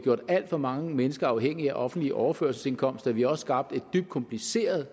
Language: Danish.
gjort alt for mange mennesker afhængige af offentlige overførselsindkomster vi har også skabt et dybt kompliceret